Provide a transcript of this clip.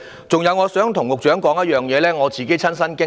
此外，我想對局長說說我自己的親身經歷。